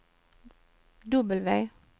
W